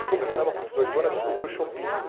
E começamos, com dezoito anos, a descobrir o Choppinho.